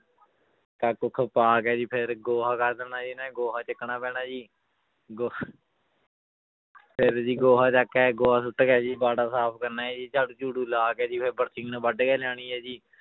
ਕੱਖ ਕੁੱਖ ਪਾ ਕੇ ਜੀ ਫਿਰ ਗੋਹਾ ਕਰ ਦੇਣਾ ਜੀ ਇਹਨਾਂ ਨੇ ਗੋਹਾ ਚੁੱਕਣਾ ਪੈਣਾ ਜੀ ਗੋ~ ਫਿਰ ਜੀ ਗੋਹਾ ਚੁੱਕ ਕੇ ਗੋਹਾ ਸੁੱਟ ਕੇ ਜੀ ਬਾੜਾ ਸਾਫ਼ ਕਰਨਾ ਹੈ ਜੀ ਝਾੜੂ ਝੂੜੂ ਲਾ ਕੇ ਜੀ ਫਿਰ ਬਰਸੀਨ ਵੱਢ ਕੇ ਲਿਆਉਣੀ ਹੈ ਜੀ